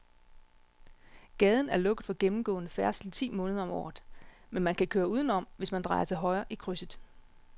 Gaden er lukket for gennemgående færdsel ti måneder om året, men man kan køre udenom, hvis man drejer til højre i krydset.